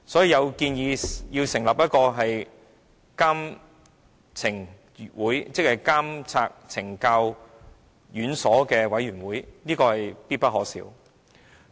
有人建議成立一個監察懲教院所委員會，這是必不可少的。